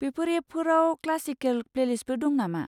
बेफोर एपफोराव क्लासिकेल प्लेलिस्टबो दं नामा?